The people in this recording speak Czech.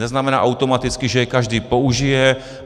Neznamená automaticky, že je každý použije.